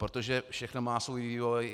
Protože všechno má svůj vývoj.